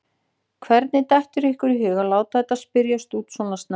Hvernig dettur ykkur í hug að láta þetta spyrjast út svona snemma?